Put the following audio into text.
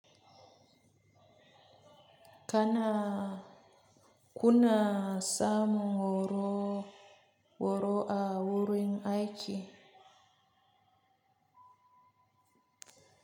Kana kuna samun horo horo a wurin aiki.